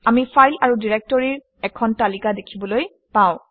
আমি ফাইল আৰু ডাইৰেক্টৰীৰ এখন তালিকা দেখিবলৈ পাওঁ